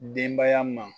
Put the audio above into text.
Denbaya ma